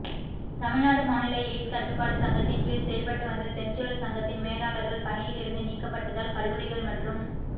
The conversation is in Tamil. தமிழ்நாடு மாநில எய்ட்ஸ் கட்டுப்பாடு சங்கத்தின் கீழ் செயல்பட்டு வந்த செஞ்சுருள் சங்கத்தின் மேலாளர்கள் பணியிலிருந்து நீக்கப்பட்டதால் கல்லூரிகள் மற்றும்